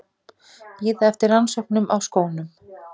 Bíða eftir rannsóknum á skónum